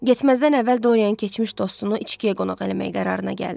Getməzdən əvvəl Dorian keçmiş dostunu içkiyə qonaq eləmək qərarına gəldi.